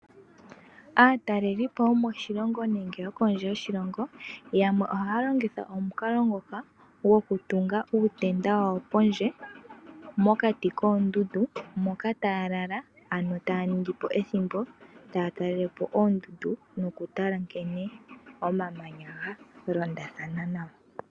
Aatalelipo yomoshilongo nenge yokondje yoshilongo yamwe ohaa tungu uutenda wawo pondje mokati koondundu taaningi po ethimbo moka taalala taatalelepo oondundu no kutala nkene omamanyanya galondathana.